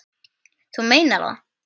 Þú meinar það?